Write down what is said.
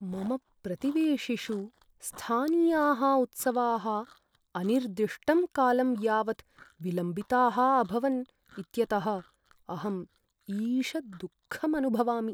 मम प्रतिवेशिषु स्थानीयाः उत्सवाः अनिर्दिष्टं कालं यावत् विलम्बिताः अभवन् इत्यतः अहम् ईषत् दुःखम् अनुभवामि।